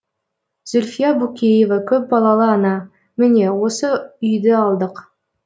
зүлфия букеева көпбалалы ана міне осы үйді алдық